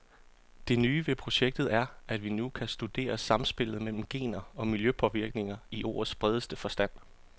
Det nye ved projektet er, at vi nu kan studere samspillet mellem gener og miljøpåvirkninger i ordets bredeste forstand.